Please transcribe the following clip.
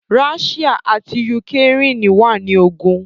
Ráshíà àti Yukrèen wà ní ogùn